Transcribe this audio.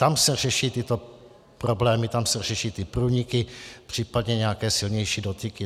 Tam se řeší tyto problémy, tam se řeší ty průniky, případně nějaké silnější dotyky.